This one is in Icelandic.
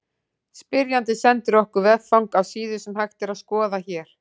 Spyrjandi sendi okkur veffang á síðu sem hægt er að skoða hér.